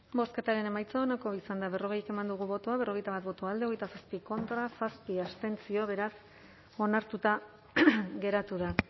bozketaren emaitza onako izan da berrogei eman dugu bozka berrogeita bat boto alde hogeita zazpi contra zazpi abstentzio beraz onartuta geratu da